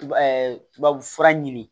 tubabu fura ɲini